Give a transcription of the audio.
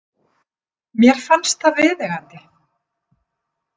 Mér fannst það viðeigandi.